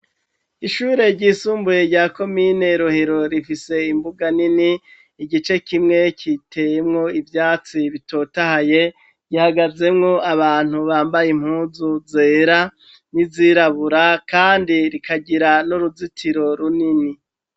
Ishure ry'isumbuye rya komine Rohero rifise imbuga nini igice kimwe kiteyemwo ivyatsi bitotahaye. Gihagazemwo abantu bambaye impunzu zera n'izirabura kandi rikagira n'uruzitiro runini.